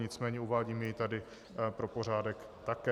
Nicméně uvádím jej tady pro pořádek také.